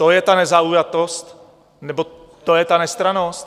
To je ta nezaujatost nebo to je ta nestrannost?